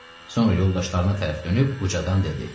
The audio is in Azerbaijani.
Sonra yoldaşlarına tərəf dönüb ucadan dedi: